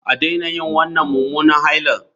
A daina yin wannan mummunan haila